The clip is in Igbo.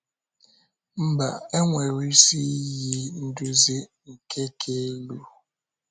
Mba, e nwere isi iyi nduzi nke ka elu.